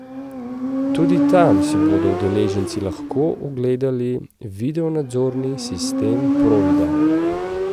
Tudi tam si bodo udeleženci lahko ogledali videonadzorni sistem Provida.